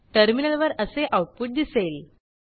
टर्मिनलवर असे आऊटपुट दिसेल